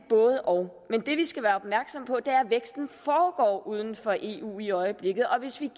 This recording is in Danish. både og men det vi skal være opmærksomme på er at væksten foregår uden for eu i øjeblikket og hvis vi